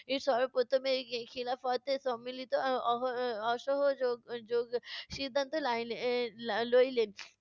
সর্বপ্রথম এই খি~ খিলাফত সম্মিলিত অহ~ অসহযোগ যোগ সিদ্ধান্ত লাইলে~ লইলেন।